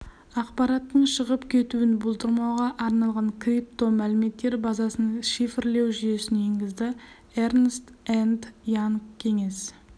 ақпараттың шығып кетуін болдырмауға арналған крипто мәліметтер базасын шифрлеу жүйесін енгізді эрнст энд янг кеңес